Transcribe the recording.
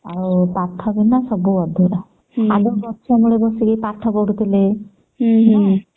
ଆଉ ପାଠ ବିନା ସବୁ ଅଧୁରା ଆଗରୁ ଗଛ ମୂଳେ ବସିକି ପାଠ ପଢୁଥିଲେ ନ